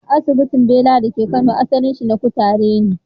Asibintin Bela da ke Kano, asalinsa na kutare ne.